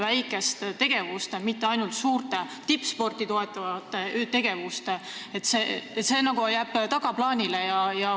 Väikesed tegevused jäävad ju tagaplaanile suurte, tippsporti toetavate tegevuste kõrval.